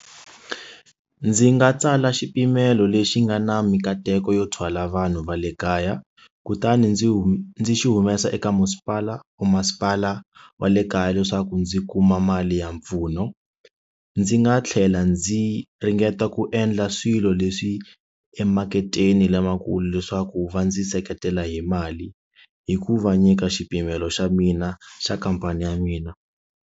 Ndzi nga tsala xipimelo lexi nga na mikateko yo thwala vanhu va le kaya kutani ndzi hume ndzi xi humesa eka masipala or masipala wa le kaya leswaku ndzi kuma mali ya mpfuno ndzi nga tlhela ndzi ringeta ku endla swilo leswi emaketeni lamakulu leswaku va ndzi seketela hi mali hi ku va nyika xipimelo xa mina xa khampani ya mina.